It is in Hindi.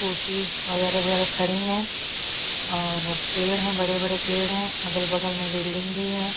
ऊटी वगैरह -वगैरह खड़े है और पेड़ है बड़े - बड़े पेड़ है अगल -बगल में बिल्डिंग भी है।